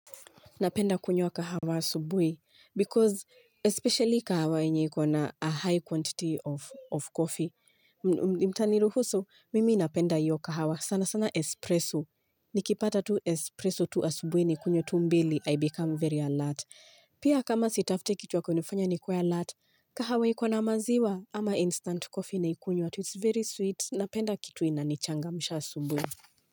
Napenda kunywa kahawa asubuhi because especially kahawa yenye iko na a high quantity of coffee. Mtaniruhusu, mimi napenda iyo kahawa sana sana espresso. Nikipata tu expresso tu asubuhi nikunywe tu mbili, I become very alert. Pia kama sitafuti kitu ya kunifanya nikuwe alert, kahawa iko na maziwa ama instant coffee nakunywa tu. It's very sweet. Napenda kitu inanichangamsha asubuhi.